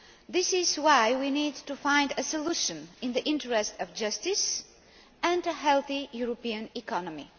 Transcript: This is why we need to find a solution in the interests of justice and a healthy European economy.